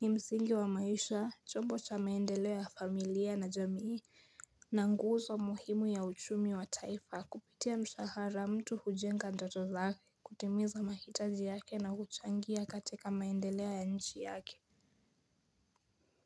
Ni msingi wa maisha, chombo cha maendeleo ya familia na jamii na nguzo muhimu ya uchumi wa taifa. Kupitia mshahara mtu hujenga ndoto zake, kutimiza mahitaji yake na kuchangia katika maendeleo ya nchi yake.